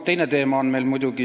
Aitäh!